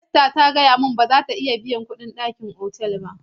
Esther ta gaya min cewa ba za ta iya biyan kuɗin ɗakin otal ba.